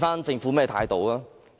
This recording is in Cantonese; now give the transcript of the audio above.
政府的態度又如何？